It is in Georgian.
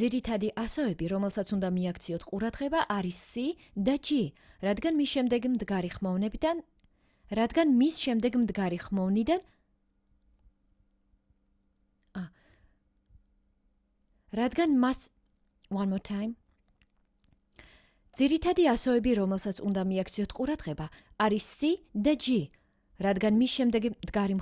ძირითადი ასოები რომელსაც უნდა მიაქციოთ ყურადღება არის c და g რადგან მის შემდეგ მდგარი